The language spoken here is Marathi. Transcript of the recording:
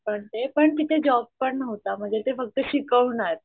पण ते तिथं जॉब पण नहूता म्हणजे ते फक्त शिकवणार.